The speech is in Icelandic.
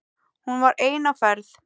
Hún var ein á ferð.